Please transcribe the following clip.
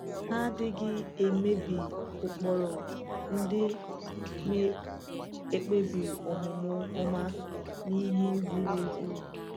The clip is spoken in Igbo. Hà adịghị emebi ụkpụrụ ndị na-ekpebi omume ọma na ihe ziri ezi.